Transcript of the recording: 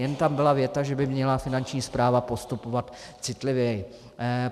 Jen tam byla věta, že by měla Finanční správa postupovat citlivěji.